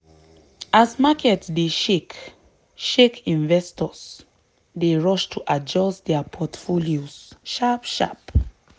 as market dey shake shake investors dey rush to adjust dia portfolios sharp-sharp.